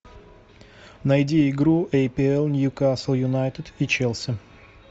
найди игру апл ньюкасл юнайтед и челси